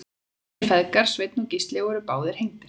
þeir feðgar sveinn og gísli voru báðir hengdir